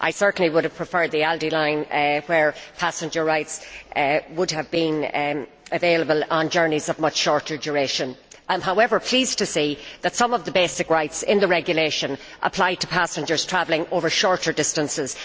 I certainly would have preferred the ALDE line, where passenger rights would have applied to journeys of a much shorter duration. I am, however, pleased to see that some of the basic rights in the regulation apply to passengers travelling over shorter distances.